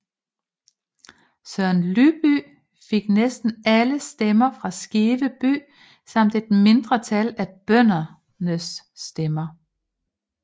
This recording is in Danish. Søren Lybye fik næsten alle stemmer fra Skive by samt et mindretal af bøndernes stemmer